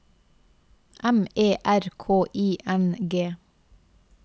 M E R K I N G